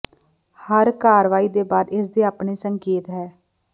ਹਰ ਕਾਰਵਾਈ ਦੇ ਬਾਅਦ ਇਸ ਦੇ ਆਪਣੇ ਸੰਕੇਤ ਹੈ